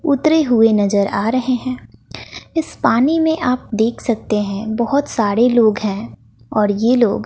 उतरे हुए नजर आ रहे हैं इस पानी में आप देख सकते है बहोत सारे लोग हैं और ये लोग--